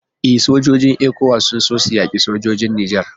E, sojojin ECOWAS sun so su yaki sojojin Nijar